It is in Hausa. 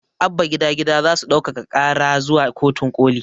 Abba gida gida zasu ɗaukaka ƙara zuwa kotun ƙoli